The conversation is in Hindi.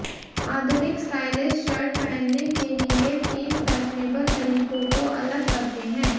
आधुनिक स्टाइलिस्ट शर्ट पहनने के लिए तीन फैशनेबल तरीकों को अलग करते हैं